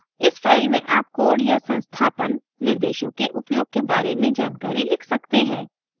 इस फ़ाइल में आप code या संस्थापन installation निर्देशों के उपयोग के बारे में जानकारी लिख सकते हैं